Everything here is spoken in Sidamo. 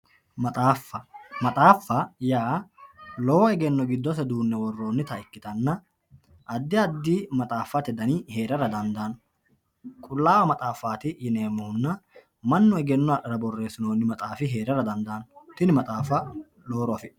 Maxaaffa maxaaffa yaa lowo egeno gidose duune woronita ikitana adi adi maxaaffate dani heerara dandaano qulaawa maxafanna rosanote egeno aano maxafa yine woshinani